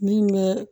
Min bɛ